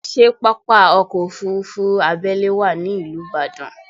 Ṣé pápá ọkọ́ Òfurufú abẹ́lé wà ní ìlú Ìbàdàn?